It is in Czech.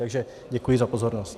Takže děkuji za pozornost.